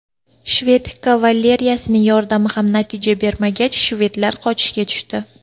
Shved kavaleriyasining yordami ham natija bermagach, shvedlar qochishga tushdi.